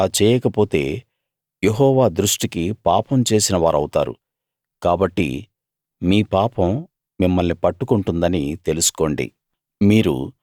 మీరు అలా చేయకపోతే యెహోవా దృష్టికి పాపం చేసిన వారవుతారు కాబట్టి మీ పాపం మిమ్మల్ని పట్టుకొంటుందని తెలుసుకోండి